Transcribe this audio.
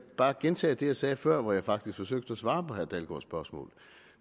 bare gentage det jeg sagde før hvor jeg faktisk forsøgte at svare på herre dalgaards spørgsmål